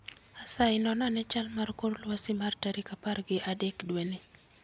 Asayi non ane chal mar kor lwasi mar tarik apar gi adek dwe ni